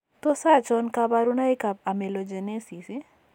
Tos achon kabarunaik ab Amelogenesis ?